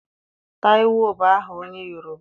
Taịwo bụ aha onye Yoroba.